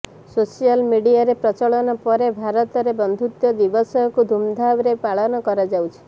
social ମିଡିଆର ପ୍ରଚଳନ ପରେ ଭାରତରେ ବନ୍ଧୁତ୍ୱ ଦିବସକୁ ଧୁମ୍ଧାମରେ ପାଳନ କରାଯାଉଛି